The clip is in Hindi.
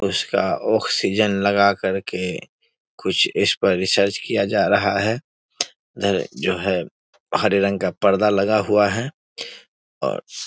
उसका ऑक्सीजन लगा करके कुछ इस पर रिसर्च किया जा रहा है इधर जो है हरे रंग का परदा लगा हुआ है और --